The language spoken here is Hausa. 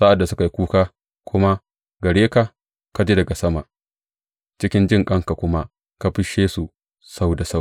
Sa’ad da suka yi kuka kuma gare ka, ka ji daga sama, cikin jinƙanka kuma ka fisshe su sau da sau.